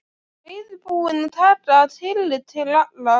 Reiðubúinn að taka tillit til allra.